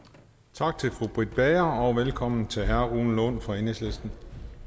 tak til fru britt bager og velkommen til herre rune lund fra enhedslisten